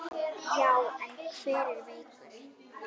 Já, en hann er veikur